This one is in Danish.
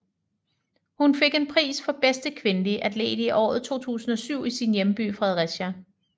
Hun fik en pris for bedste kvindelige atlet i året 2007 i sin hjemby Fredericia